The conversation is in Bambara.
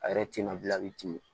A yɛrɛ tɛna